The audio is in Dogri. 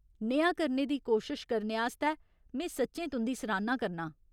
नेहा करने दी कोशश करने आस्तै में सच्चें तुं'दी सराह्‌ना करनां ।